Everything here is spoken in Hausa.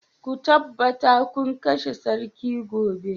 Ku tabbata kun kashe sarki gobe